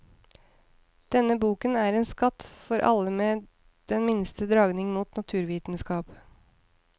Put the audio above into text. Denne boken er en skatt for alle med den minste dragning mot naturvitenskap.